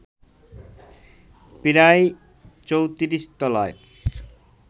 প্রায় ৩৪তলার